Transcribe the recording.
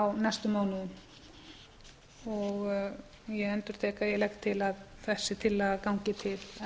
á næstu mánuðum ég endurtek að ég legg til að þessi tillaga gangi til